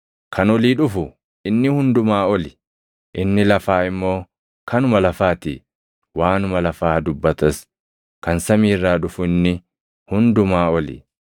“Kan olii dhufu inni hundumaa oli; inni lafaa immoo kanuma lafaa ti; waanuma lafaa dubbatas. Kan samii irraa dhufu inni hundumaa oli.